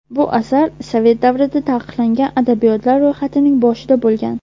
Bu asar sovet davrida taqiqlangan adabiyotlar ro‘yxatining boshida bo‘lgan.